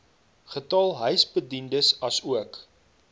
getal huisbediendes asook